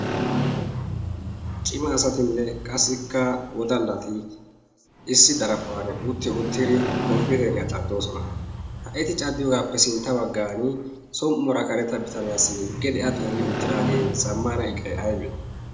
cima asatinne qassikka wodallati issi daraphphuwan utti uuttiri komppiteeriyaa caddoosona. ha eti caddiyoogaappe sintta baggan som"uwara kareta bitaniyaassi gidi a xeelli uttiraagee zammana iqay aybee?